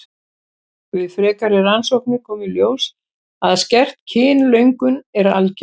Við frekari rannsóknir kom í ljós að skert kynlöngun er algeng.